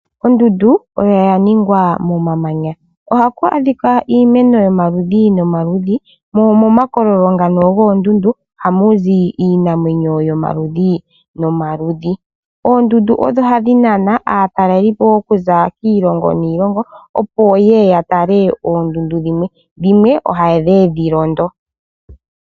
Ondunda oya ningwa momamanya. Ohaku adhika iimeno yomaludhi yomaludhi mo momakololo ngano goondundu ohamuzi iinamwenyo yomaludhi nomaludhi. Oondundu odho hadhi nana aatalelipo okuza kiilongo niilongo opo yeye yatale oondundu, dhimwe ohayedhi londo.